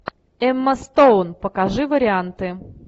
эмма стоун покажи варианты